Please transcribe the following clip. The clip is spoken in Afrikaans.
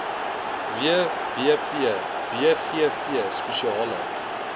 wbp bgv spesiale